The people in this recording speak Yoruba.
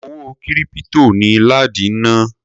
Owó kírípítò ni ládi ń ná.